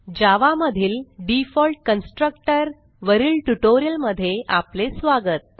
जावा मधील default constructor वरील ट्युटोरियलमध्ये आपले स्वागत